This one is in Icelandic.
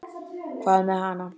Hvað með hana?